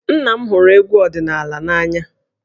Nna m hụrụ egwú ọdịnala n'anya